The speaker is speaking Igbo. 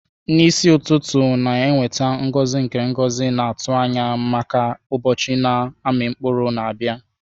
N'isi ụtụtụ na-eweta ngozi nke ngozi na-atụ anya maka ụbọchị na-amị mkpụrụ na-abịa.